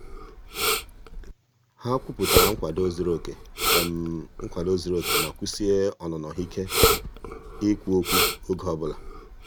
ha kwupụtara nkwado zuru oke nkwado zuru oke ma kwụsie ọnụnọ ha ike ikwu okwu oge ọbụla.